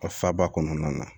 A faba kɔnɔna na